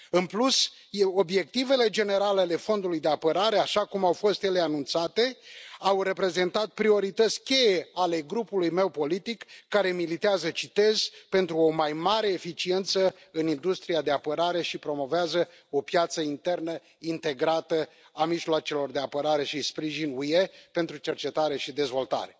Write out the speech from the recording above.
În plus, obiectivele generale ale Fondului de apărare așa cum au fost ele anunțate au reprezentat priorități cheie ale grupului meu politic, care militează citez pentru o mai mare eficiență în industria de apărare și promovează o piață internă integrată a mijloacelor de apărare și sprijin UE pentru cercetare și dezvoltare.